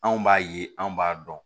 Anw b'a ye anw b'a dɔn